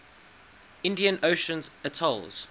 indian ocean atolls